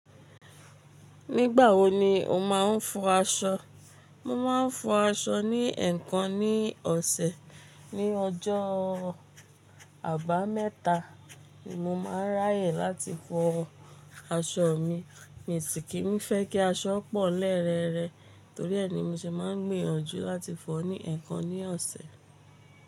Nígbà wo ni o máa ń fọ aṣọ? Mo máa ń fọ aṣọ ní ẹ̀ẹ̀kan ní ọ̀sẹ̀. Ni ọjọ́ àbámẹ́ta ni mo máa ń ráyè láti fọ aṣọ mi. Mi sì kì n fẹ́ kí aṣọ pọ̀ ń lẹ̀ rẹrẹrẹ torí ẹ ni mo ṣe máa ń gbìyànjú láti fọ ní ẹ̀ẹ̀kan ní ọ̀sẹ̀.